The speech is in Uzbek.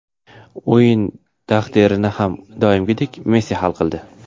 O‘yin taqdirini har doimgidek Messi hal qildi.